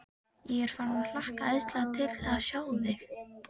Ég er farinn að hlakka æðislega til að sjá þig.